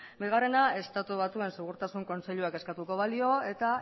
bigarrena estatu batuen segurtasun kontseiluak eskatuko balio eta